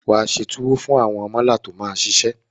Wà á se tuwo fún àwọn mọ́là tó máa ṣiṣẹ́.